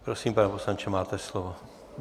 Prosím, pane poslanče, máte slovo.